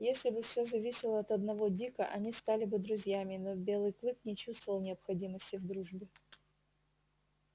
если бы всё зависело от одного дика они стали бы друзьями но белый клык не чувствовал необходимости в дружбе